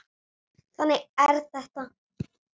Þannig er þetta.